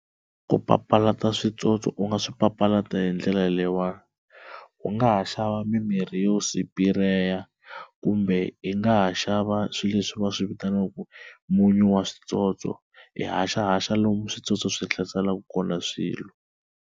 Ku papalata switsotso u nga swi papalata hi ndlela leyiwa u nga ha xava mimirhi yo sipireya kumbe i nga ha xava swileswi va swi vitanaka munyu wa switsotso i haxahaxa lomu switsotso swi hlaselaka kona swilo.